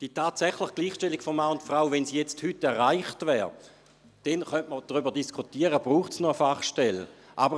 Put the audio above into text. Wenn die tatsächliche Gleichstellung von Mann und Frau heute erreicht wäre, könnte man darüber diskutieren, ob es noch eine Fachstelle braucht.